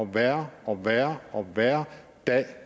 værre og værre og værre dag